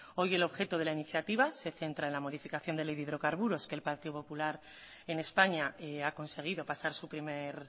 hoy el objeto de la iniciativa se centra en la modificación de ley de hidrocarburos que el partido popular en españa ha conseguido pasar su primer